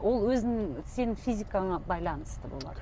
ол өзінің сенің физикаңа байланысты болады